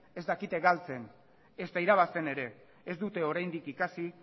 ez dakite galtzen ezta irabazten ere ez dute oraindik ikasi